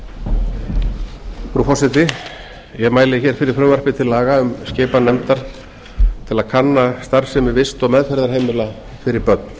frú forseti ég mæli fyrir frumvarpi til laga um skipan nefndar til að kanna starfsemi vist og meðferðarheimila fyrir börn